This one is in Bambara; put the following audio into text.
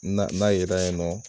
N'a yera yen nɔ